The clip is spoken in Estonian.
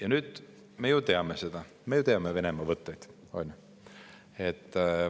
Aga nüüd me ju teame Venemaa võtteid, on ju.